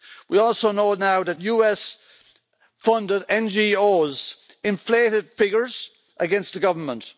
We also know now that US funded NGOs inflated figures against the government.